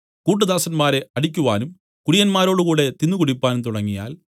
കൂട്ട് ദാസന്മാരെ അടിക്കുവാനും കുടിയന്മാരോടുകൂടി തിന്നുകുടിപ്പാനും തുടങ്ങിയാൽ